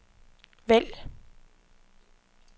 vælg